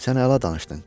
sən əla danışdın,